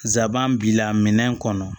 Zaban b'i la minɛn kɔnɔ